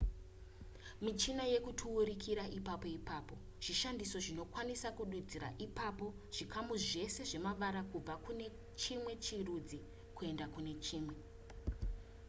michina yekuturukuira ipapo ipapo zvishandiso zvinokwanisa kududzira ipapo zvikamu zvese zvemavara kubva kune chimwe chirudzi kuenda kune chimwe